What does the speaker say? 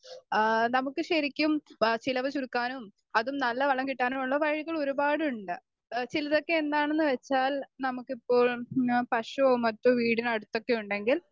speaker 2 ആ നമുക്ക് ശരിക്കും പ ചിലവ് ചുരുക്കാനും അതും നല്ല വളം കിട്ടാനുവുള്ള വഴികൾ ഒരുപാടുണ്ട്.ആഹ് ചിലതൊക്കെ എന്താണെന്നുവെച്ചാൽ നമുക്കിപ്പോൾ മ് ആ പശുവോ മറ്റോ വീടിനടുത്തൊക്കെയുണ്ടെങ്കിൽ